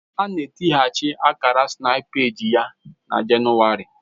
A ga etinyeachi Akara snapypage ya na Jenụwarị